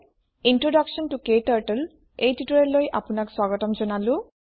introduction ত ক্টাৰ্টল এই টিউটৰিয়েললৈ আপোনাক স্বাগতম জনালো